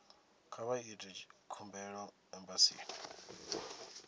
kha vha ite khumbelo embasini